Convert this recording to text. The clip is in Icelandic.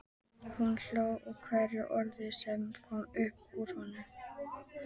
Hún hló að hverju orði sem kom upp úr honum.